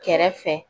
Kɛrɛfɛ